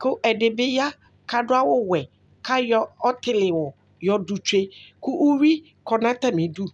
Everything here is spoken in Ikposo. ,ku ɛdibi ya k'adu awù wɛ k'ayɔ ɔtili wù yɔ du tsue k'uwí kɔ nu atami du